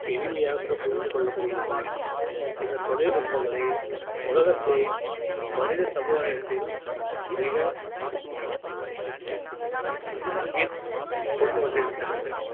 எளிமையாக புரிந்து கொள்ள முடிகிறது இந்த தொழில்நுட்பங்களை உலகத்தை மனித சமுதாயத்தில் மிக கொண்டு வந்திருக்கின்றன